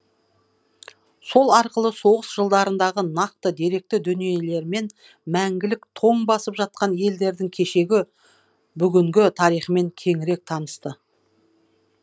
сол арқылы соғыс жылдарындағы нақты деректі дүниелермен мәңгілік тоң басып жатқан елдердің кешегі бүгінгі тарихымен кеңірек танысты